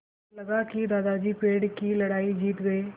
लगा कि दादाजी पेड़ की लड़ाई जीत गए